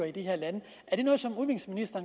i de her lande